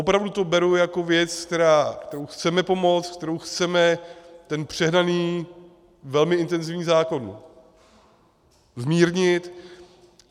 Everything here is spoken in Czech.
Opravdu to beru jako věc, kterou chceme pomoct, kterou chceme ten přehnaný, velmi intenzivní zákon zmírnit.